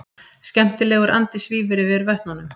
Skemmtilegur andi svífur yfir vötnunum.